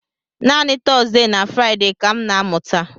Naanị Tọzdee na Fraịde ka m na-amụta.